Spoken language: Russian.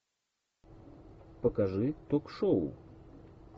покажи ток шоу